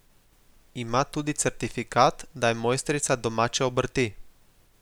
Ima tudi certifikat, da je mojstrica domače obrti.